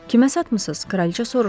Kimə satmısınız?